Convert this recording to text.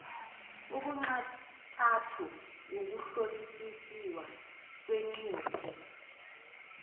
obunxantathu ukuhlolisisiwa kwengcuphe